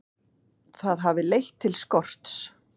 Það hafi leitt til skorts.